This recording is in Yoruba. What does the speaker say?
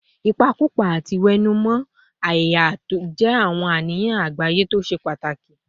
Ìpakúpa àti ìwẹ̀nùmọ́ ẹ̀yà jẹ́ àwọn àníyàn àgbáyé tó ṣe pàtàkì